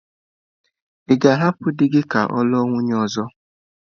Ị ga-ahapụ di gị ka ọ lụọ nwunye ọzọ?